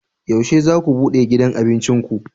Yaushe za ku bude gidan abincin ku?